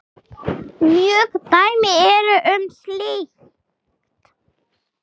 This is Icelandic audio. Mörg dæmi eru um slíkt.